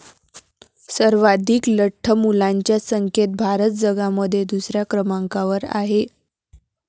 सर्वाधीक लठ्ठ मुलांच्या संख्येत भारत जगामध्ये दुसऱ्या क्रमांकावर आहे.